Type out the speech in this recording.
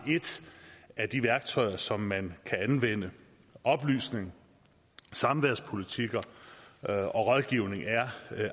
af de værktøjer som man kan anvende oplysning samværspolitikker og rådgivning er